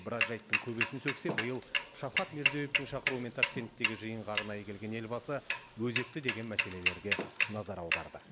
біраз жайттың көбесін сөксе биыл шавкат мирзиеевтің шақыруымен ташкенттегі жиынға арнайы келген елбасы өзекті деген мәселелерге назар аударды